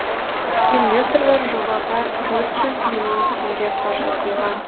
инвесторлар жобаға төрт жүз миллион теңге қаржы құйған